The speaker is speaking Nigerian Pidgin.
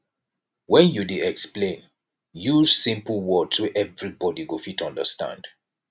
when you dey explain use simple words wey everybody go fit understand